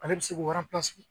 Ale bɛ se k'o